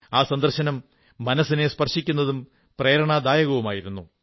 ആ സന്ദർശനം മനസ്സിനെ സ്പർശിക്കുന്നതും പ്രേരണാദായകവുമായിരുന്നു